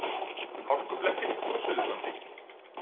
Hálkublettir á Suðurlandi